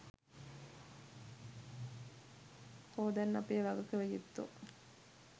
කො දැන් අපේ වගකිව යුත්තො?